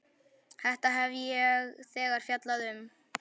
Þetta hef ég þegar fjallað um.